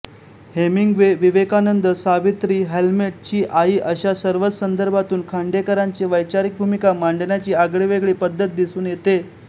हेमिंग्वेविवेकानंदसावित्रीहॅम्लेटची आई अश्या सर्वच संदर्भातून खांडेकरांची वैचारिक भूमिका मांडण्याची आगळीवेगळी पद्धत दिसून येते